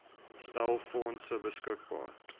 stel fondse beskikbaar